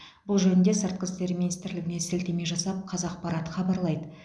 бұл жөнінде сыртқы істер министрлігіне сілтеме жасап қазақпарат хабарлайды